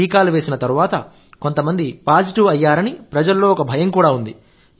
టీకాలు వేసిన తరువాత కొంతమంది పాజిటివ్ అయ్యారని ప్రజలలో ఒక భయం కూడా ఉంది